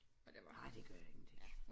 Nej det gør ingenting